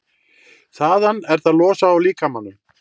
Þaðan er það losað úr líkamanum.